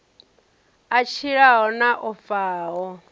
a tshilaho na o faho